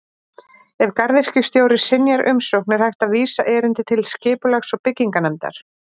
Ef garðyrkjustjóri synjar umsókn er hægt að vísa erindi til Skipulags- og bygginganefndar.